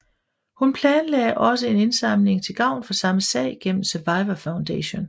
Hun planlagde også en indsamling til gavn for samme sag gennem Survivor Foundation